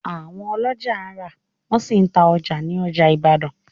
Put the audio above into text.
Àwọn oloja rà, wọ́n sì ta ọjà ní ọjà Ìbàdàn